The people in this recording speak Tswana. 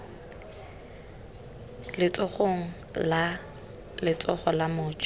letsogong la letsogo la moja